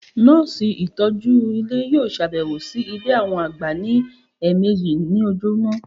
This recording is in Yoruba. Nọ́ọ̀sì ìtọ́jú Ilé yíò sàbẹ̀wò sí Ilé àwọn àgbà ní ẹ̀ẹ̀mẹjì ní ojúmọ́